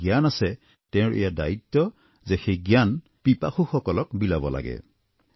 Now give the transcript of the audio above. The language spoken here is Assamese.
অৰ্থাৎ যাৰ জ্ঞান আছে তেওঁৰ এয়া দায়িত্ব সেই জ্ঞান পিপাসুসকলক বিলাব লাগে